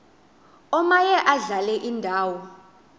omaye adlale indawo